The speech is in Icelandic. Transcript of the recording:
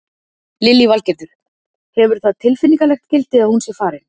Lillý Valgerður: Hefur það tilfinningalegt gildi að hún sé farin?